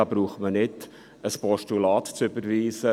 Da braucht man nicht ein Postulat zu überweisen.